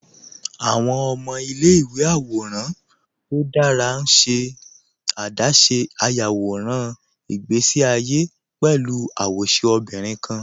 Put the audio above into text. Awọn ọmọ ilẹ̀-ìwé àwòràn tó dára n ṣe adáṣé iyàwọ̀ràn ìgbèsí àyé pẹ̀lú awóṣẹ obìnrin kan